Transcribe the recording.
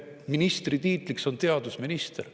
Ja ministri tiitel on teadusminister.